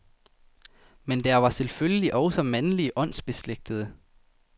Men der var selvfølgelig også mandlige åndsbeslægtede.